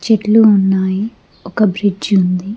చెట్లు ఉన్నాయి ఒక బ్రిడ్జ్ ఉంది.